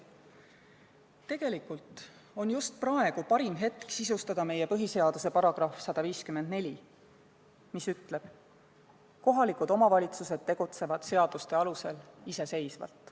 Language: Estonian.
Tegelikult on just praegu parim hetk sisustada meie põhiseaduse § 154, mis ütleb, et kohalikud omavalitsused tegutsevad seaduste alusel iseseisvalt.